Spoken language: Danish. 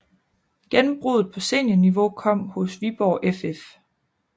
Gennembruddet på seniorniveau kom hos Viborg FF